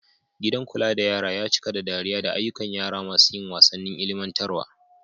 Gidan kula da yara ya cika da dariya da ayyukan yara masu yin wasannin ilimantarwa.